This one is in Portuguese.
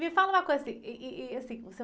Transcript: Me fala uma coisa, ih, ih, e, assim...